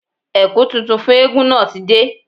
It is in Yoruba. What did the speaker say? Ẹ̀kú tuntun fún eégún náà ti dé